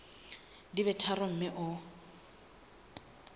di be tharo mme o